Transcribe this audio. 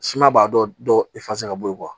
Siman b'a dɔ ka bɔ ye